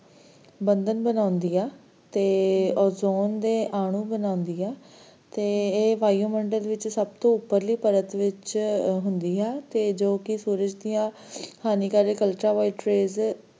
ਬੰਧਨ ਬਣਾਉਂਦੀ ਆ ਤੇ ozone ਦੇ ਆਣੁ ਬਣਾਉਂਦੀ ਆ ਤੇ ਇਹ ਵਾਯੂਮੰਡਲ ਵਿਚ ਸਭ ਤੋਂ ਉੱਪਰਲੀ ਪਰਤ ਵਿਚ ਹੁੰਦੀ ਆ, ਤੇ ਜੋ ਕੀ ਸੂਰਜ ਦੀਆਂ ਹਾਨੀਕਾਰਕ Ultraviolet rays,